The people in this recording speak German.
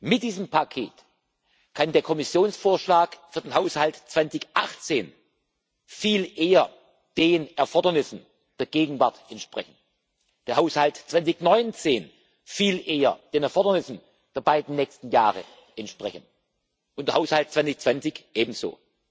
Mit diesem Paket kann der Kommissionsvorschlag für den Haushalt 2018 viel eher den Erfordernissen der Gegenwart entsprechen, der Haushalt 2019 viel eher den Erfordernissen der beiden nächsten Jahre entsprechen und der Haushalt 2020 ebenso.